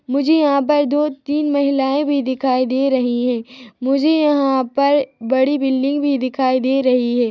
मुझे यहाँ पर दो-तीन महिलाएँ भी दिखाई दे रही है मुझे यहाँ पर बड़ी बिल्डिंग भी दिखाई दे रही है।